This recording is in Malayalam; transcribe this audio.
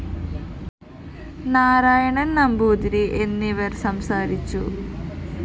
നാരായണന്‍ നമ്പൂതിരി എന്നിവര്‍ സംസാരിച്ചു